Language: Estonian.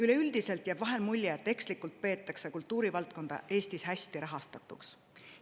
Üleüldiselt jääb vahel mulje, et ekslikult peetakse kultuurivaldkonda Eestis hästi rahastatuks.